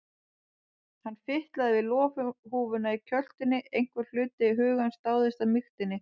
Hann fitlaði við loðhúfuna í kjöltunni, einhver hluti hugans dáðist að mýktinni.